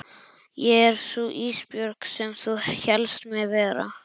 Ég er sú Ísbjörg sem þú hélst mig vera.